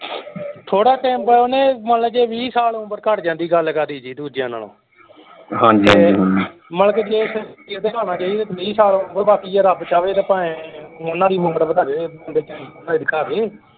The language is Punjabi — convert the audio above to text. ਥੋੜਾ ਟਾਈਮ ਬਾਅਦ ਓਹਨੇ ਮੰਨ ਲਓ ਜੇ ਵੀਹ ਸਾਲ ਉਮਰ ਘੱਟ ਜਾਂਦੀ ਗੱਲ ਕਾਦੀ ਜੀ ਦੂਜੀਆਂ ਨਾਲੋਂ। ਤੇ ਮੰਨ ਕੇ ਕਹੀਏ ਵੀਹ ਸਾਲ ਉਮਰ ਬਾਕੀ ਹੈ ਬਾਕੀ ਰੱਬ ਚਾਹੇ ਤਾਂ ਭਾਵੇਂ ਉਹਨਾਂ ਦੀ ਉਮਰ ਵਧਾ ਦੇ ਬੱਚਿਆਂ ਦੀ।